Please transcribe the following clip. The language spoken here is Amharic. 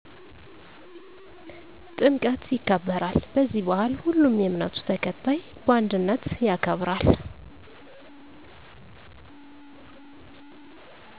ጥምቀት ይከበራል በዚህ ባአል ሁሉም የእምነቱ ተከታይ በአንድነት ያከብራል